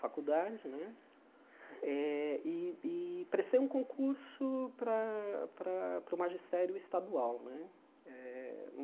faculdade né, eh e e prestei um concurso para para para o magistério estadual né eh.